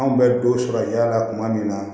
Anw bɛ don sɔrɔ yaala la kuma min na